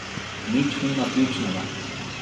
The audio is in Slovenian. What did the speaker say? Nič ni naključnega.